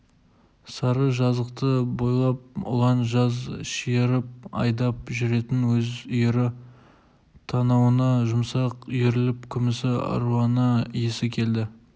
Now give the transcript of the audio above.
сары жазықты бойлап ұлан жаз шиырып айдап жүретін өз үйірі танауына жұмсақ үйіріліп күлімсі аруана иісі келді